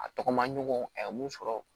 A tɔgɔ maɲɔgɔn a ye mun sɔrɔ